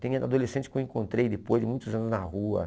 Tem adolescente que eu encontrei depois de muitos anos na rua.